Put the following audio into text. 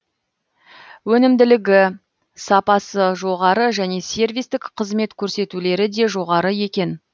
өнімділігі сапасы жоғары және сервистік қызмет көрсетулері де жоғары екен